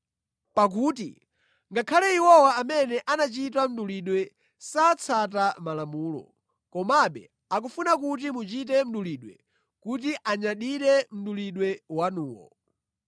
Pakuti ngakhale iwowa amene anachita mdulidwe satsata Malamulo, komabe akufuna kuti muchite mdulidwe kuti anyadire mdulidwe wanuwo.